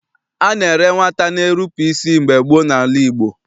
A na-ere nwata na-erupu isi mgbe gboo n'ala Igbo.